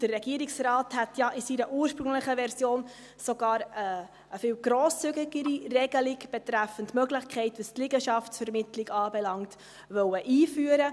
Der Regierungsrat hätte ja in seiner ursprünglichen Version sogar eine viel grosszügigere Regelung betreffend die Möglichkeit der Liegenschaftsvermittlung einführen wollen.